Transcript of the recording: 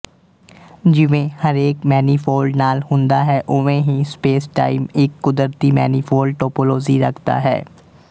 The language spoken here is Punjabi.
ਜਿਵੇਂ ਹਰੇਕ ਮੈਨੀਫੋਲਡ ਨਾਲ ਹੁੰਦਾ ਹੈ ਓਵੇਂ ਹੀ ਸਪੇਸਟਾਈਮ ਇੱਕ ਕੁਦਰਤੀ ਮੈਨੀਫੋਲਡ ਟੌਪੌਲੌਜੀ ਰੱਖਦਾ ਹੈ